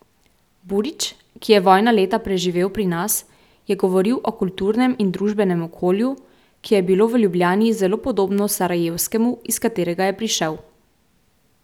Burić, ki je vojna leta preživel pri nas, je govoril o kulturnem in družbenem okolju, ki je bilo v Ljubljani zelo podobno sarajevskemu, iz katerega je prišel.